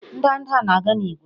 Ndanda na-aga n'ígwè